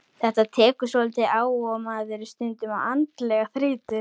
Þetta tekur svolítið á og maður er stundum andlega þreyttur.